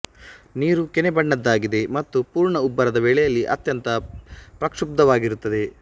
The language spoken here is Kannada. ನೀರು ಕೆನೆ ಬಣ್ಣದ್ದಾಗಿದೆ ಮತ್ತು ಪೂರ್ಣ ಉಬ್ಬರದ ವೇಳೆಯಲ್ಲಿ ಅತ್ಯಂತ ಪ್ರಕ್ಷುಬ್ಧವಾಗಿರುತ್ತದೆ